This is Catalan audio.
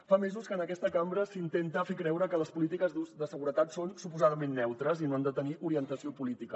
fa mesos que en aquesta cambra s’intenta fer creure que les polítiques de seguretat són suposadament neutres i no han de tenir orientació política